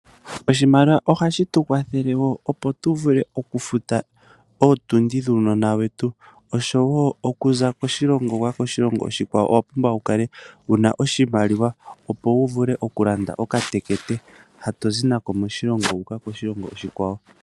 Oshimaliwa ohashi tu kwathele wo opo tu vule okufuta ootundi dhuunona wetu. Osho wo okuza koshilongo shimwe wu uka koshikwawo, owa pumbwa oku kala wuna oshimaliwa opo wu vule okulanda okatekete, ha tozi nako moshilongo moka wu uka nako koshilongo oshikwawo.